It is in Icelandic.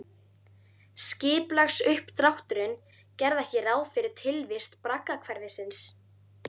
Skipulagsuppdrátturinn gerði ekki ráð fyrir tilvist braggahverfisins